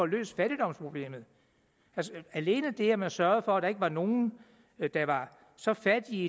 løst fattigdomsproblemet alene det at man sørgede for at der ikke var nogen der var så fattige